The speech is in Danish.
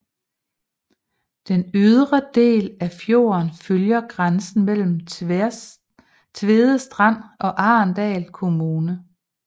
Den ydre del af fjorden følger grænsen mellem Tvedestrand og Arendal kommuner